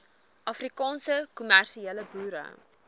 afrikaanse kommersiële boere